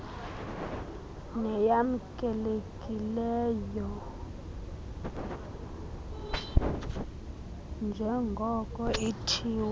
neyamkelekileyo njrngoko ithiwa